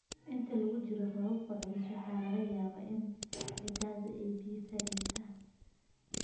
Inta lagu jiro roobabka culus, waxaa laga yaabaa in ciidda ay biyo fariisato.